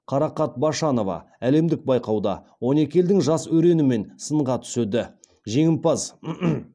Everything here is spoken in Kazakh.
қарақат башанова әлемдік байқауда он екі елдің жас өренімен сынға түседі